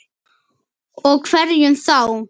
Og hverjum þá?